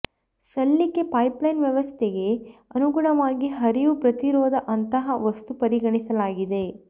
ಸಲ್ಲಿಕೆ ಪೈಪ್ಲೈನ್ ವ್ಯವಸ್ಥೆಗೆ ಅನುಗುಣವಾಗಿ ಹರಿವು ಪ್ರತಿರೋಧ ಅಂತಹ ವಸ್ತು ಪರಿಗಣಿಸಲಾಗಿದೆ